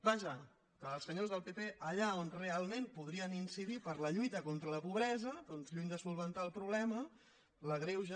vaja que els senyors del pp allà on realment podrien incidir per la lluita contra la pobresa doncs lluny de resoldre el problema l’agreugen